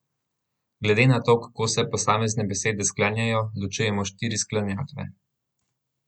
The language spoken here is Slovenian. Glede na to, kako se posamezne besede sklanjajo, ločujemo štiri sklanjatve.